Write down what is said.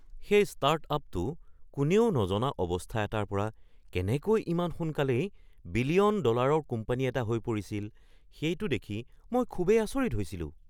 সেই ষ্টাৰ্টআপটো কোনেও নজনা অৱস্থা এটাৰ পৰা কেনেকৈ ইমান সোনকালেই বিলিয়ন ডলাৰৰ কোম্পানী এটা হৈ পৰিছিল সেইটো দেখি মই খুবেই আচৰিত হৈছিলোঁ।